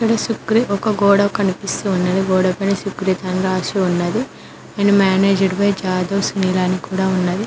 సుక్రీ ఒక గోడ కనిపిస్తు ఉన్నది గోడ పైన సుక్రీత్ అని రాసి ఉన్నది and managed by Jadhav Sunil అని కూడా ఉన్నది.